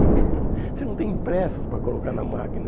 Você não tem impressos para colocar na máquina.